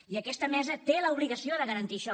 i aquesta mesa té l’obligació de garantir això